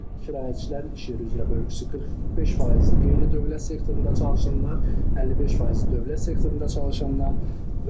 Kirayəçilərin iş yeri üzrə bölgüsü 45% qeyri-dövlət sektorunda çalışanlar, 55% dövlət sektorunda çalışanlar.